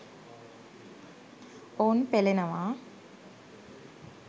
ඔවුන් පෙළෙනවා.